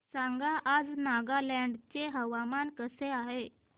सांगा आज नागालँड चे हवामान कसे आहे